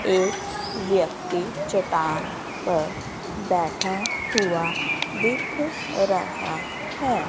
एक व्यक्ति चट्टान पर बैठा हुआ दिख रहा है।